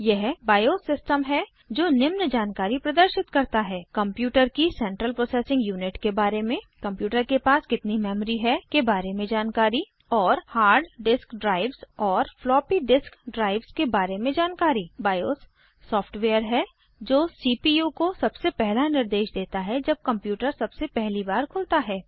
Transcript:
यह बायोस सिस्टमहै जो निम्न जानकारी प्रदर्शित करता है कंप्यूटर की सेंट्रल प्रोसेसिंग यूनिट के बारे में कंप्यूटर के पास कितनी मेमरी है के बारे में जानकारी और हार्ड डिस्क ड्राइव्स और फ्लॉपी डिस्क ड्राइव्स के बारे में जानकारी बायोस सॉफ्टवेयर है जो सीपीयू को सबसे पहला निर्देश देता है जब कंप्यूटर सबसे पहली बार खुलता है